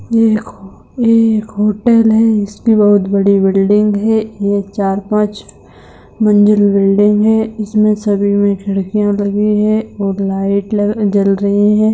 ये एक हो ये एक होटल है जिसमे बहुत बड़ी बिल्डिंग है ये चार पाँच मंजिल बिल्डिंग है इसमे सभी मे खिड़कियां लगि है ओर लाइट लग जल रही है।